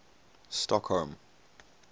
stockholm